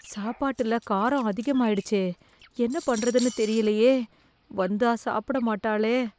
சாப்பாட்டில காராம் அதிகம் ஆயிடுச்சே என்ன பண்றதுன்னு தெரியலையே வந்தா சாப்பிட மாட்டாளே.